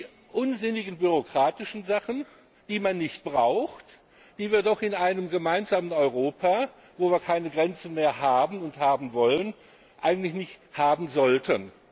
Das sind die unsinnigen bürokratischen Ungetüme, die man nicht braucht, die wir doch in einem gemeinsamen Europa, wo wir keine Grenzen mehr haben und haben wollen, eigentlich nicht haben sollten.